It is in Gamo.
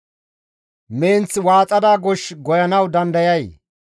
Menth waaxada gosh goyanawu dandayay?